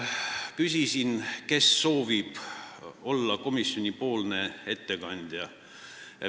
Küsisin, kes soovib olla komisjoni ettekandja.